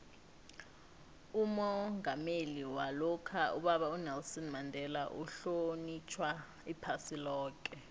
umongameli walokha ubaba unelson mandela uhlonitjhwa iphasi loke